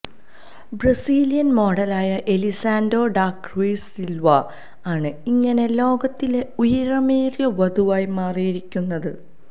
Brazilian മോഡലായ Elisany da Cruz Silva ആണ് ഇങ്ങനെ ലോകത്തിലെ ഉയരമേറിയ വധുവായി മാറിയിരിക്കുന്നത്